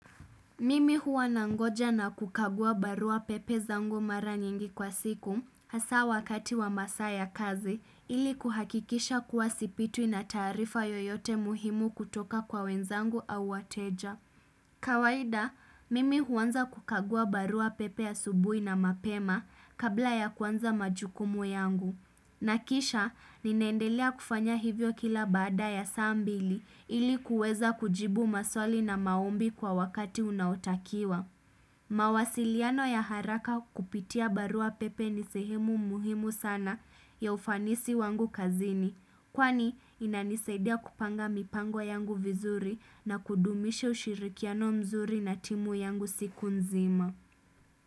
Mimi huwa nangoja na kukagua barua pepe zangu mara nyingi kwa siku hasa wakati wa masaa ya kazi ili kuhakikisha kuwa sipitwi na taarifa yoyote muhimu kutoka kwa wenzangu au wateja. Kawaida, mimi huanza kukagua barua pepe asubuhi na mapema kabla ya kuanza majukumu yangu. Na kisha, ninaendelea kufanya hivyo kila baada ya saa mbili ili kuweza kujibu maswali na maombi kwa wakati unaotakiwa. Mawasiliano ya haraka kupitia barua pepe ni sehimu muhimu sana ya ufanisi wangu kazini. Kwani, inanisaidia kupanga mipango yangu vizuri na kudumisha ushirikiano mzuri na timu yangu siku nzima.